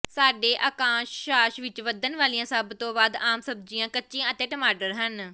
ਸਾਡੇ ਅਕਸ਼ਾਂਸ਼ ਵਿੱਚ ਵਧਣ ਵਾਲੀਆਂ ਸਭ ਤੋਂ ਵੱਧ ਆਮ ਸਬਜ਼ੀਆਂ ਕੱਚੀਆਂ ਅਤੇ ਟਮਾਟਰ ਹਨ